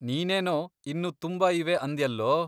ನೀನೇನೋ ಇನ್ನೂ ತುಂಬಾ ಇವೆ ಅಂದ್ಯಲ್ಲೋ?